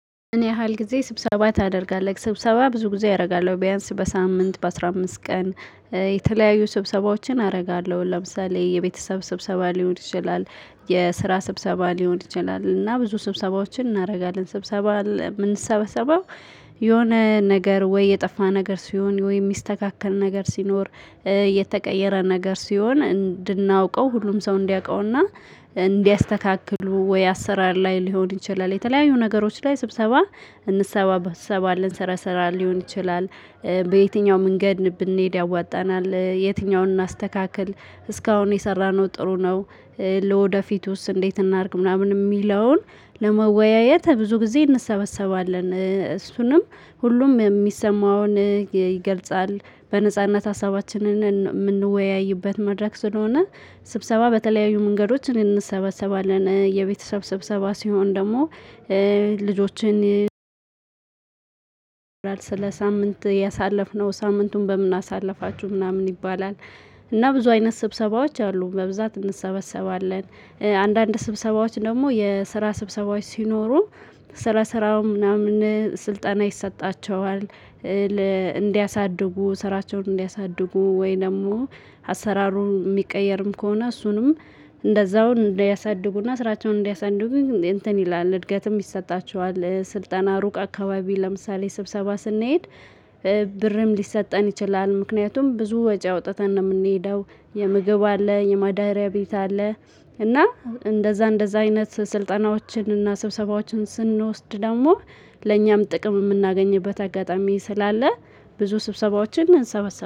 ምን ያህል ጊዜ ስብሰባ ታደርጋለህ? ስብሰባ ብዙ ጊዜ አደርጋለሁ ቢያንስ በሳምንት በአሥራ አምስት ቀን የተለያዩ ስብሰባዎችን አደርጋለሁ ለምሳሌ የቤተሰብ ስብሰባ ሊሆን ይችላል። የስራ ስብሰባ ሊሆን ይችላል እና ብዙ ስብሰባዎችን እናደርጋለን ስብሰባ ምንሰበሰበው። የሆነ ነገር ወይ የጠፋ ነገር ሲሆን ወይም ሚስተካከል ነገር ሲኖር። የተቀየረ ነገር ሲሆን እንድናውቀው ሁሉም ሰው እንዲያውቀውና። እንዲያስተካክሉ ወይ አሰራር ላይ ሊሆን ይችላል የተለያዩ ነገሮች ላይ ስብሰባ። እንሰበሰባለን ስረ ስራ ሊሆን ይችላል። በየትኛውም መንገድ ብንሄድ ያዋጣናል የትኛውን እናስተካክል እስካሁን የሰራነው ጥሩ ነው። ለወደፊቱስ እንዴት እናድርግ ምናምን የሚለውን ለመወያየት ብዙ ጊዜ እንሰበሰባለን። እሱንም ሁሉም የሚሰማውን ይገልጻል በነጻነት ሀሳባችንን ምንወያይበት መድረክ ስለሆነ። ስብሰባ በተለያዩ መንገዶች እንሰበሰባለን የቤተሰብ ስብሰባ ሲሆን ደግሞ። ልጆችን ስለ ሳምንት ያሳለፍነው ሳምንቱን በምናሳልፋችሁ ምናምን ይባላል። እና ብዙ አይነት ስብሰባዎች አሉ በብዛት እንሰበሰባለን። አንዳንድ ስብሰባዎች ደግሞ የስራ ስብሰባዎች ሲኖሩ ስለ ስራው ምናምን ስልጠና ይሰጣቸዋል። እንዲያሳድጉ ስራቸውን እንዲያሳድጉ ወይ ደግሞ አሰራሩን የሚቀየርም ከሆነ እሱንም እንደዛው እንዲያሳድጉና ስራቸውን እንዲያሳድጉ ግን እንትን ይላል እድገትም ይሰጣቸዋል። ስልጠና ሩቅ አካባቢ ለምሳሌ ስብሰባ ስንሄድ። ብርም ሊሰጠን ይችላል ምክንያቱም ብዙ ወጪ አውጥተን ነው የምንሄደው። የምግብ አለ የማዳሪያ ቤት አለ። እና እንደዛ እንደዛ አይነት ስልጠናዎችን እና ስብሰባዎችን ስንወስድ ደግሞ ለእኛም ጥቅም የምናገኝበት አጋጣሚ ስላለ። ብዙ ስብሰባዎችን እንሰበሰባለን